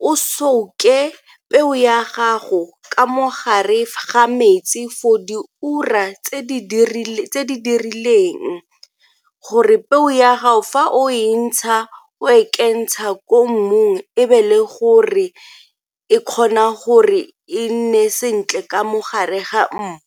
o souke peo ya gago ka mo gare ga metsi for di ura tse dirileng gore peo ya gago fa o e ntsha o e kentsha ko mmung e be le gore e kgona gore e nne sentle ka mo gare ga mmu.